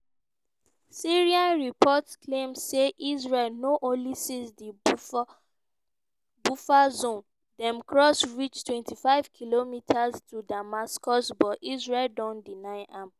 syrian reports claim say israel no only seize di buffer zone dem cross reach 25 kilometres to damascus but israel don deny am.